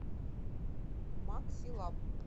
максилаб